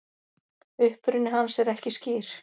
uppruni hans er ekki skýr